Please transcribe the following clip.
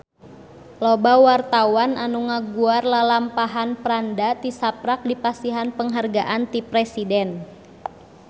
Loba wartawan anu ngaguar lalampahan Franda tisaprak dipasihan panghargaan ti Presiden